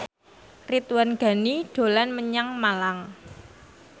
Ridwan Ghani dolan menyang Malang